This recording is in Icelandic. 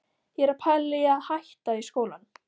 Ég er að pæla í að hætta í skólanum.